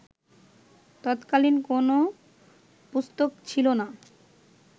তৎকালীন কোন পুস্তকে ছিল না